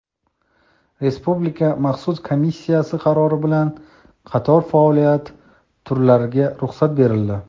Respublika maxsus komissiyasi qarori bilan qator faoliyat turlariga ruxsat berildi.